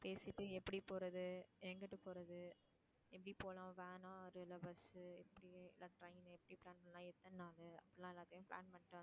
பேசிட்டு எப்படி போறது, எங்குட்டு போறது எப்படி போலாம் வேணாம் bus உ எப்படி இல்ல train உ எப்படி plan பண்ணலாம் எத்தனை நாளு அப்படில்லாம் எல்லாத்தையும் plan பண்ணிட்டு